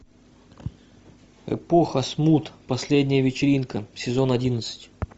эпоха смут последняя вечеринка сезон одиннадцать